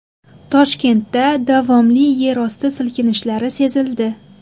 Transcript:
Toshkentda davomli yerosti silkinishlari sezildi.